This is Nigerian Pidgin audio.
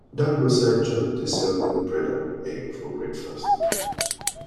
dat roadside joint dey sell good bread and and egg for breakfast